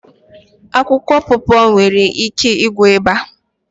Akwụkwọ pọpọ e nwere ike ịgwọ ịba?